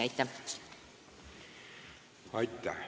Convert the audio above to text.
Aitäh!